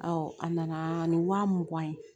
a nana ni wa mugan ye